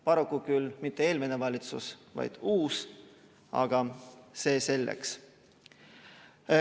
Paraku küll mitte eelmine valitsus, vaid uus, aga see selleks.